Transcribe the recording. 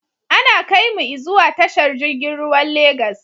Ana kaimu i zuwa tashar jirgin ruwan Lagos